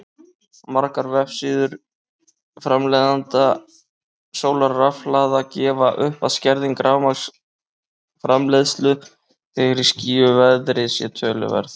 Margir vefsíður framleiðenda sólarrafhlaða gefa upp að skerðing rafmagnsframleiðslu þegar í skýjuðu veðri sé töluverð.